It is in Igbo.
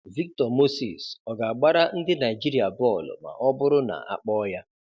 Victor Moses ọ ga-agbara ndị Naịjirịa bọọlụ ma ọ bụrụ na a kpọọ ya?